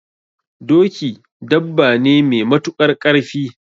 Doki dabba ne me matuƙar ƙarfi